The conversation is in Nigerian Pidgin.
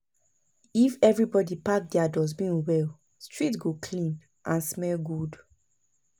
If everybody pack their dustbin well, street go clean and smell good.